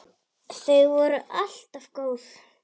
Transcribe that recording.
Þau voru alltaf góð.